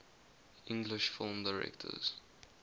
english film directors